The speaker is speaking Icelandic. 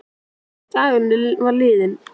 Dagurinn var liðinn.